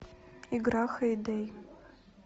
игра хэй дэй